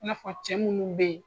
I nafɔ cɛ munnu be yen